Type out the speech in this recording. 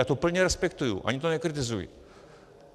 Já to plně respektuji, ani to nekritizuji.